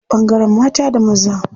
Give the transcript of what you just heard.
Akwai ɓangaren mata da maza.